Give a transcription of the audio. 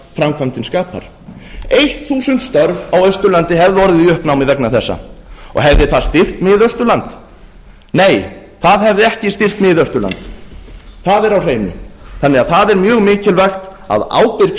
framkvæmdin skapar eitt þúsund störf hefðu orðið í uppnámi á austurlandi vegna þessa hefði það styrkt miðausturland nei það hefði ekki styrkt miðausturland það er á hreinu það er því mjög mikilvæga að ábyrg